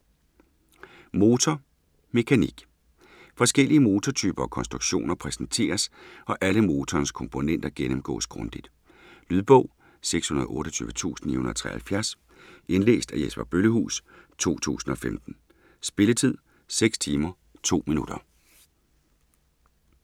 Motor - mekanik Forskellige motortyper og -konstruktioner præsenteres og alle motorens komponenter gennemgås grundigt. Lydbog 628973 Indlæst af Jesper Bøllehuus, 2015. Spilletid: 6 timer, 2 minutter.